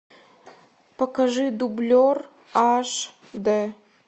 покажи дублер аш д